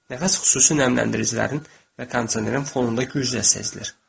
Nəfəs xüsusi nəmləndiricilərin və kondisionerin fonunda güclə sezilir.